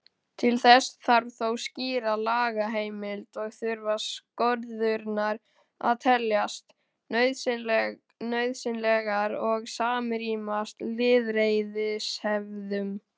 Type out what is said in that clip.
Til þess þarf þó skýra lagaheimild og þurfa skorðurnar að teljast nauðsynlegar og samrýmast lýðræðishefðum.